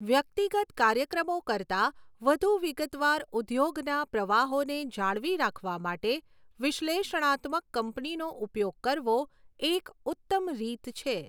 વ્યક્તિગત કાર્યક્રમો કરતા વધુ વિગતવાર ઉદ્યોગના પ્રવાહોને જાળવી રાખવા માટે વિશ્લેષણાત્મક કંપનીનો ઉપયોગ કરવો એક ઉત્તમ રીત છે.